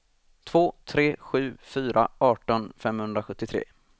två tre sju fyra arton femhundrasjuttiotre